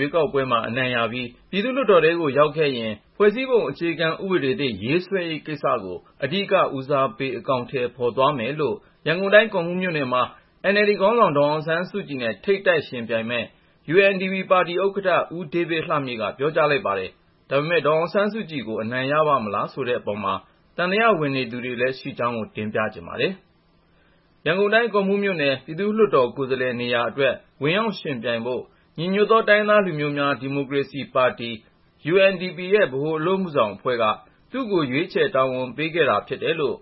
ရွေးကောက်ပွဲမှာ အနိုင်ရပြီး ပြည်သူ့လွှတ်တော်ထဲကို ရောက်ခဲ့ရင် ဖွဲ့စည်းပုံအခြေခံဥပဒေသစ် ရေးဆွဲရေးကိစ္စကို အဓိက ဦးစားပေး အကောင်ထည်ဖေါ်သွားမယ်လို့ ရန်ကုန်တိုင်း ကော့မှူးမြို့နယ်မှာ NLD ခေါင်းဆောင် ဒေါ်အောင်ဆန်းစုကြည်နဲ့ ထိပ်တိုက်ယှဉ်ပြိုင်မယ့် UNDP ပါတီဥက္ကဌ ဦးဒေးဗစ်လှမြင့်က ပြောကြားလိုက်ပါတယ်။ ဒါပေမဲ့ ဒေါ်အောင်ဆန်းစုကြည်ကို အနိုင်ရပါ့မလားဆိုတဲ့အပေါ်မှာ သံသယ ဝင်နေသူတွေလည်း ရှိတဲ့အကြောင်း ကိုဉာဏ်ဝင်းအောင်က တင်ပြထားပါတယ်။ ရန်ကုန်တိုင်း ကော့မှူးမြို့နယ် ပြည်သူ့လွှတ်တော်ကိုယ်စားလှယ် နေရာအတွက် ဝင်ရောက်ယှဉ်ပြိုင်ဖို့ ညီညွတ်သော တိုင်းရင်းသားလူမျိုးများ ဒီမိုကရေစီပါတီ UNDP ရဲ့ ဗဟိုအလုပ်အမှုဆောင် အဖွဲ့က သူ့ကို ရွေးချယ် တာဝန်ပေးခဲ့တာ ဖြစ်တယ်လို့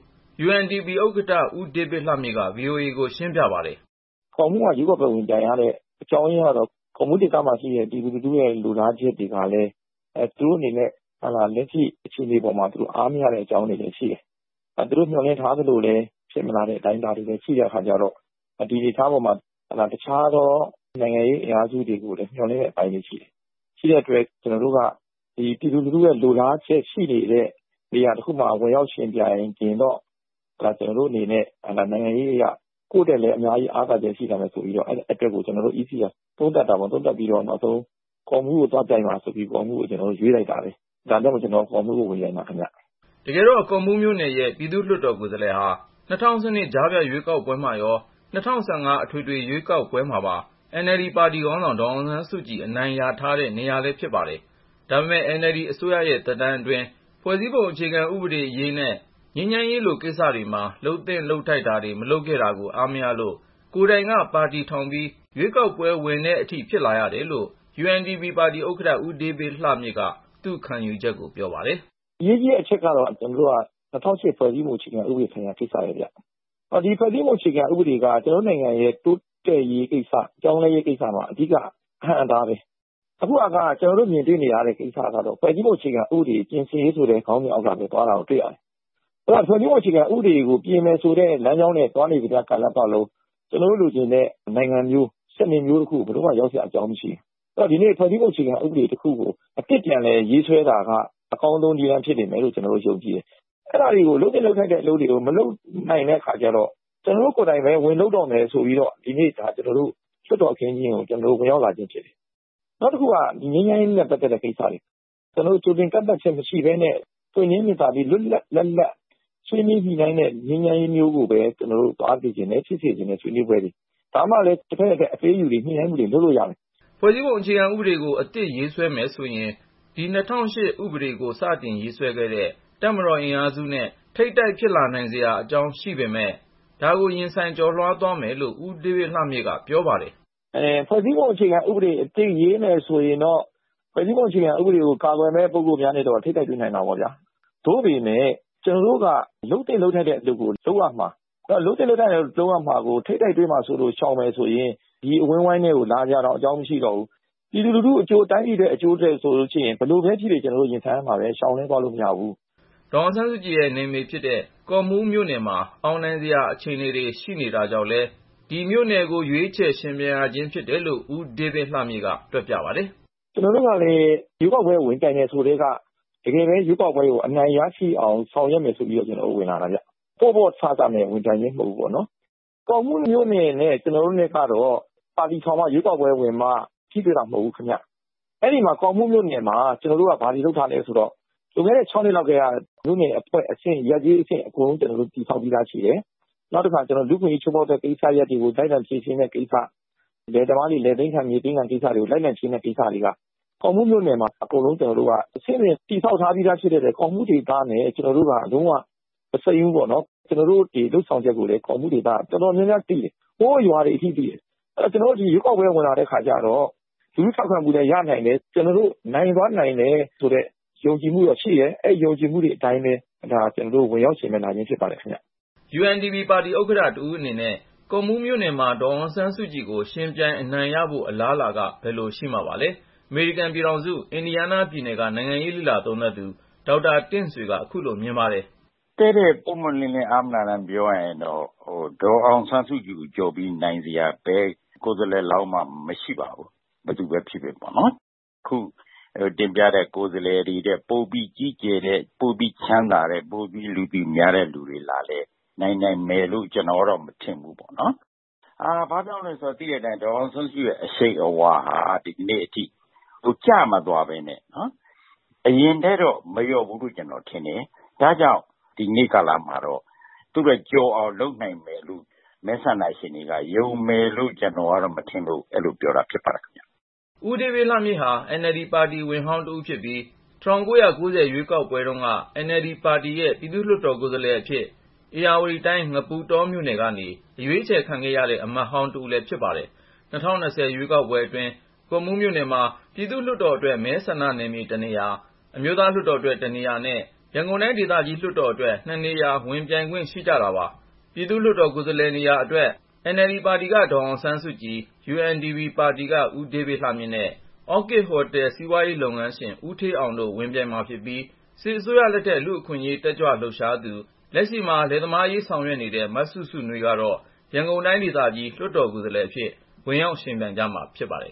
UNDP ဥက္ကဌ ဦးဒေးဗစ်လှမြင့်က VOA ကိုရှင်းပြပါတယ်။ " ကော့မှူးမှာ ရွေးကောက်ပွဲဝင်ပြိုင်ရတဲ့ အကြောင်းရင်းကတော့ ကော့မှူးဒေသ ပြည်သူတွေကလည်း လက်ရှိအခြေအနေပေါ်မှာ သူတို့ အားမရတဲ့အကြောင်းတွေရှိတယ်၊ သူတို့ မျှော်လင့်ထားသလို ဖြစ်မလာတဲ့ အတိုင်းအတာတွေ ရှိလာတဲ့အခါကျတော့ ဒီအနေအထားပေါ်မှာ အခြားသော နိုင်ငံရေးအင်အားစုတွေကို မျှော်လင့်နေတဲ့ အပိုင်းတွေရှိတယ်။ ရှိတဲ့အတွက် ကျနော်တို့က ပြည်သူလူထု လိုလားတဲ့နေရာတခုမှာ ဝင်ရောက်ယှဉ်ပြိုင်ရင်တော့ ကိုယ့်အတွက် နိုင်ငံရေးအရ အများကြီးအားသာချက် ရှိလာမယ်ဆိုတဲ့ ကျနော်တို့ပါတီ CEC က သုံးသပ်ပြီးတော့၊ နောက်ဆုံးမှာ ကော့မှူးကို သွားပြိုင်ပါဆိုပြီး ကျနော့်ကို ရွေးလိုက်တာပဲ။ ဒါကြောင့် ကျနော် ကော့မှူးကနေ ဝင်ပြိုင်မှာပါခင်ဗျ။ " တကယ်တော့ ကော့မှူးမြို့နယ်ရဲ့ ပြည်သူ့လွှတ်တော်ကိုယ်စားလှယ်နေရာကို ၂၀၁၂ ကြားဖြတ် ရွေးကောက်ပွဲမှာရော ၊ ၂၀၁၅ အထွေထွေ ရွေးကောက်ပွဲမှာပါ NLD ပါတီခေါင်းဆောင် ဒေါ်အောင်ဆန်းစုကြည်က အနိုင်ရထားတာ ဖြစ်ပါတယ်။ ဒါပေမဲ့ NLD အစိုးရရဲ့ သက်တမ်းအတွင်း ဖွဲ့စည်းပုံ အခြေခံဥပဒေအရေးနဲ့ ငြိမ်းချမ်းရေး လိုကိစ္စ တွေမှာ လုပ်သင့်လုပ်ထိုက်တာတွေ မလုပ်ခဲ့တာကို အားမရလို့ ကိုယ်တိုင်က ပါတီထောင်ပြီး ရွေးကောက်ပွဲ ဝင်ဖို့အထိ ဖြစ်လာရတာလို့ UNDP ဥက္ကဌ ဦးဒေးဗစ်လှမြင့်က သူ့ခံယူချက်ကို ပြောပါတယ်။ " အရေးကြီးတဲ့အချက်ကတော့ ၂၀၀၈ ဖွဲ့စည်းပုံအခြေခံ ဥပဒေဆိုင်ရာကိစ္စပဲဗျ။ ဒီဖွဲ့စည်းပုံ အခြေခံဥပဒေက ကျနော်တို့နိုင်ငံရဲ့ တိုးတက်ရေးကိစ္စ ပြောင်းလဲရေးကိစ္စမှာ အဓိက အဟန့်အတားပဲ။ အခုဟာက ဖွဲ့စည်းပုံအခြေခံဥပဒေ ပြင်ဆင်ရေးဆိုတဲ့ ခေါင်းစဉ်အောက်ပဲသွားနေတာ တွေ့ရတယ်။ ဖွဲ့စည်းပုံအခြေခံဥပဒေကို ပြင်မယ်ဆိုတဲ့ လမ်းကြောင်းနဲ့ သွားနေတဲ့ ကာလပတ်လုံး ကျနော်တို့ လိုချင်တဲ့ နိုင်ငံမျိုး စနစ်မျိုးကို ဘယ်တော့မှ ရောက်စရာအကြောင်း မရှိဘူး။ ဆိုတော့ ဖွဲ့စည်းပုံအခြေခံ ဥပဒေတခုကို အသစ်ပြန်လည်ရေးဆွဲလိုက်တာက အကောင်းဆုံး ဖြစ်လိမ့်မယ်လို့ ကျနော်တို့ ယုံကြည်တယ်။ အဲဒီလို လုပ်သင့်လုပ်ထိုက်တဲ့ အလုပ်တွေကို တာဝန်ရှိသူတွေက မလုပ်နိုင်တဲ့အခါကျတော့ ကျနော်တို့ကိုယ်တိုင်ပဲ ဝင်လုပ်တော့မယ် ဆိုပြီးတော့၊ လွှတ်တော်အခင်းအကျင်းကို ကျနော်တို့ အခုလို ဝင်ရောက်လာခြင်း ဖြစ်တယ်။ နောက်တခုက ငြိမ်းချမ်းရေးနဲ့ ပတ်သက်တဲ့ကိစ္စတွေ ၊ ကျနော်တို့ ကြိုတင်ကန့်သတ်ချက် မရှိပဲနဲ့ ပွင့်လင်းမြင်သာပြီး လွတ်လွတ်လပ်လပ် ဆွေးနွေးညှိနှိုင်းတဲ့ ငြိမ်းချမ်းရေးမျိုးကိုပဲ ကျနော်တို့သွားစေချင်တယ် ဆွေးနွေးပွဲတွေ ဖြစ်စေချင်တယ် ။ ဒါမှလည်းပဲ တဖက်နဲ့တဖက် အပေးအယူတွေ ညှိနှိုင်းမှုတွေ လုပ်လို့ရတယ်။ " ဖွဲ့စည်းပုံ အခြေခံဥပဒေကို အသစ်ရေးမယ်ဆိုရင် ဒီ ၂၀၀၈ ဥပဒေကို စတင်ရေးဆွဲခဲ့တဲ့ တပ်မတော် အင်အားစုနဲ့ ထိပ်တိုက် ဖြစ်လာနိုင်စရာအကြောင်း ရှိနိုင်ပေမဲ့ ဒါကို ရင်ဆိုင် ကျော်လွှားသွားမယ်လို့ ဦးဒေးဗစ်လှမြင့်က ပြောပါတယ်။ " ဖွဲ့စည်းပုံအခြေခံဥပဒေအသစ် ရေးမယ်ဆိုရင်တော့ ဖွဲ့စည်းပုံအခြေခံဥပဒေကို ကာကွယ်မယ့် ပုဂ္ဂိုလ်များနဲ့တော့ ထိပ်တိုက် တွေ့နိုင်တာပေါ့ဗျာ။ သို့ပေမယ့် ကျနော်တို့က လုပ်သင့်လုပ်ထိုက်တဲ့ အလုပ်ကို လုပ်ရမှာ။ လုပ်သင့်လုပ်ထိုက်တာ လုပ်ရမှာကို ထိပ်တိုက် တွေ့မှာစိုးလို့ ရှောင်မယ်ဆိုရင် ကျနော်တို့ ဒီအဝန်းအဝိုင်းထဲ လာစရာအကြောင်း မရှိတော့ဘူး၊ ပြည်သူလူထုအကျိုး တိုင်းပြည် အကျိုးအတွက် ဆိုလို့ရှိရင် ဘယ်လိုပဲဖြစ်ဖြစ် ကျနော်တို့ ရင်ဆိုင်ရမှာပဲ၊ ရှောင်လွှဲသွားလို့ မရဘူး။" ဒေါ်အောင်ဆန်းစုကြည်ရဲ့နယ်မြေဖြစ်တဲ့ ကော့မှူးမြို့နယ်မှာ အောင်နိုင်စရာ အခြေအနေတွေ ရှိတာကြောင့်လည်း ဒီမြို့နယ်ကို ရွေးချယ် ယှဉ်ပြိုင်ခြင်း ဖြစ်တယ်လို့ ဦးဒေးဗစ်လှမြင့်က တွက်ပြပါတယ်။ " ကျနော်တို့ကလည်း ရွေးကောက်ပွဲ ဝင်ပြိုင်တယ်ဆိုကတည်းက ရွေးကောက်ပွဲကို တကယ်ပဲ အနိုင်ရရှိအောင် ဆောင်ရွယ်မယ်ဆိုပြီးတော့ ကျနော်တို့ ဝင်လာတာဗျ ပေါ့ပေါ့ဆဆနဲ့ ဝင်ပြိုင်ခြင်း မဟုတ်ဘူးပေါ့နော်။ ကော့မှူးမြို့နယ်နဲ့ ကျနော်တို့နဲ့ကတော့ ပါတီထောင်မှ ရွေးကောက်ပွဲဝင်မှ ထိတွေ့တာ မဟုတ်ဘူးခင်ဗျ။ အဲဒီ ကော့မှူးမြို့နယ်မှာ ကျနော်တို့က ဘာတွေလုပ်ထားလဲဆိုတော့ လွန်ခဲ့တဲ့ ၆ နှစ်လောက် ကတည်းက မြို့နယ်အဆင့် ရပ်/ကျေးအဆင့် အဖွဲ့တွေ ကျနော်တို့ တည်ဆောက်ပြီးသားရှိတယ်။ နောက်တခါ လူ့အခွင့်အရေး ချိုးဖေါက်တဲ့ကိစ္စတွေကို လိုက်လံ ဖြေရှင်းပေးတဲ့ကိစ္စ၊ လယ်သမားတွေ လယ်သိမ်းခံ မြေသိမ်းခံ ကိစ္စတွေကို လိုက်လံဖြေရှင်းပေးတဲ့ ကိစ္စတွေက ကော့မှူးမြို့နယ်မှာ အကုန်လုံး ကျနော်တို့က အဆင့်ဆင့်တည်ဆောက်ထားပြီးသား ဖြစ်တဲ့အတွက် ကော့မှူးဒေသနဲ့ ကျနော်တို့က လုံးဝ မစိမ်းဘူးပေါ့နော်။ ကျနော်တို့ လုပ်ဆောင်ချက်တွေကိုလည်း ကော့မှူးဒေသက အတော်များများသိတယ်။ ဟိုး ရွာတွေအထိ သိတယ်။ အဲဒီတော့ ကျနော်တို့ခုလို ရွေးကောက်ပွဲ ဝင်လာတဲ့အခါကျတော့ လူထုထောက်ခံမှုလည်း ရနိုင်တယ်၊ နိုင်သွားနိုင်တယ် ဆိုတဲ့ ယုံကြည်မှုရှိတယ်။ အဲဒီယုံကြည်မှုအတိုင်းပဲ ကျနော် ဝင်ရောက်ယှဉ်ပြိုင်ခြင်း ဖြစ်ပါတယ်။" UNDP ပါတီဥက္ကဌ တဦးအနေနဲ့ ကော့မှူးမြို့နယ်မှာ ဒေါ်အောင်ဆန်းစုကြည်ကို ယှဉ်ပြိုင် အနိုင်ရဖို့ အလားအလာက ဘယ်လို ရှိမှာပါလဲ ။ အမေရိကန်ပြည်ထောင်စု အင်ဒီယားနားပြည်နယ်က နိုင်ငံရေးလေ့လာသုံးသပ်သူ ဒေါက်တာ တင်ဆွေက ခုလို မြင်ပါတယ်။ " ပွင့်ပွင့်လင်းလင်း အားမနာတမ်း တည့်တည့် ပြောရရင်တော့ ဒေါ်အောင်ဆန်းစုကြည်ကိုကျော်ပြီး နိုင်စရာ ဘယ်ကိုယ်စားလှယ်လောင်းမှ မရှိပါဘူး။ ဘယ်သူပဲဖြစ်ဖြစ်ပေါ့ ။ ခုတင်ပြတဲ့ ကိုယ်စားလှယ် တွေထက် ပိုပြီးကြီးကျယ်တဲ့ ပိုပြီးချမ်းသာတဲ့ ပိုပြီးလူသိများတဲ့ လူတွေလာပြိုင်လည်း နိုင်နိုင်မယ်လို့ ကျနော်ကတော့ မထင်ဘူးပေါ့နော်။ ဘာ့ကြောင့်လည်းဆိုတော့ ဒေါ်အောင်ဆန်းစုကြည်ရဲ့ အရှိန်အဝါဟာ ဒီကနေ့အချိန်ထိ ကျမသွားပဲနဲ့ အရင်ထက်တော့ မလျော့ဘူးလို့ ကျနော်ထင်တယ်။ ဒါကြောင့် ဒီနေ့ကာလမှာတော့ သူ့ထက်ကျော်အောင် လုပ်နိုင်မယ်ဆိုပြီး မဲဆန္ဒရှင်တွေက ယုံမယ်လို့ ကျနော်ကတော့ မထင်ပါဘူး။ " ဦးဒေးဗစ်လှမြင့်ဟာ NLD ပါတီဝင်ဟောင်းတဦး ဖြစ်ပြီး ၊ ၁၉၉၀ ခုနှစ်ရွေးကောက်ပွဲတုန်းက NLD ပါတီရဲ့ ပြည်သူ့လွှတ်တော်ကိုယ်စားလှယ်အဖြစ် ဧရာဝတီတိုင်း ငပုတောမြို့နယ်ကနေ အရွေးချယ်ခံခဲ့ရတဲ့ အမတ်ဟောင်း တဦးလည်းဖြစ်ပါတယ်။ ၂၀၂၀ ရွေးကောက်ပွဲအတွင်း ကော့မှူးမြို့နယ်မှာ ယှဉ်ပြိုင်ခွင့်ရှိတာက ပြည်သူ့လွှတ်တော်အတွက် မဲဆန္ဒနယ်မြေ နေရာ ၊ အမျိုးသားလွှတ်တော်အတွက် နေရာနဲ့ ရန်ကုန်တိုင်း ဒေသကြီး လွှတ်တော်အတွက် နေရာ ဖြစ်ပါတယ်။ ပြည်သူ့လွှတ်တော် နေရာအတွက် NLD ပါတီက ဒေါ်အောင်ဆန်းစုကြည်၊ UNDP ပါတီက ဦးဒေးဗစ်လှမြင့်နဲ့ Orchid Hotel စီးပွားရေးလုပ်ငန်းရှင် ဦးဌေးအောင်တို့ ဝင်ပြိုင်မှာဖြစ်ပြီး ၊ စစ်အစိုးရလက်ထက် လူ့အခွင့်အရေးတက်ကြွလှုပ်ရှားသူ လက်ရှိမှာ လယ်သမားအရေးဆောင်ရွက်နေတဲ့ မစုစုနွေးကတော့ ရန်ကုန်တိုင်းဒေသကြီး လွှတ်တော်ကိုယ်စားလှယ်အဖြစ် ဝင်ရောက်ယှဉ်ပြိုင်မှာ ဖြစ်ပါတယ်